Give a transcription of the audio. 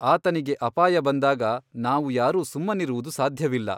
ಆತನಿಗೆ ಅಪಾಯ ಬಂದಾಗ ನಾವು ಯಾರೂ ಸುಮ್ಮನಿರುವುದು ಸಾಧ್ಯವಿಲ್ಲ.